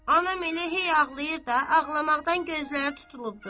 Anam elə hey ağlayır da, ağlamaqdan gözləri tutulubdur.